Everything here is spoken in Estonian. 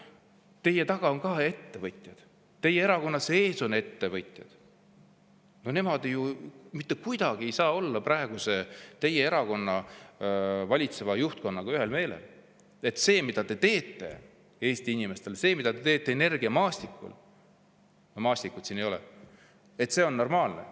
Teie taga on ka ettevõtjad, teie erakonna sees on ettevõtjad, nemad ju mitte kuidagi ei saa olla teie erakonna praegu valitseva juhtkonnaga ühel meelel, et see, mida te teete Eesti inimestele, see, mida te teete energiamaastikul – Maastikku siin ei ole –, on normaalne.